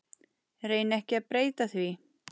Reyni ekki að breyta því.